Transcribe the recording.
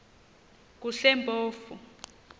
kusempofu